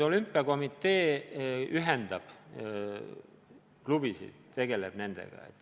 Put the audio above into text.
Olümpiakomitee ühendab klubisid, tegeleb nendega.